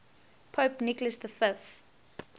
pope nicholas v